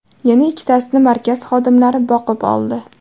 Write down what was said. Yana ikkitasini markaz xodimlari boqib oldi.